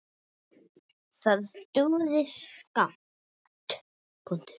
Það dugði skammt.